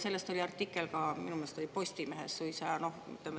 Sellest oli minu meelest ka artikkel Postimehes suisa.